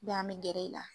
an bɛ gɛrɛ i la